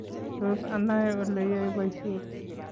Tos anai oleyae boishiet?